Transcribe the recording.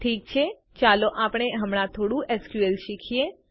ઠીક છે ચાલો આપણે હમણાં થોડું એસક્યુએલ શીખીએ